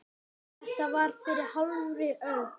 Þetta var fyrir hálfri öld.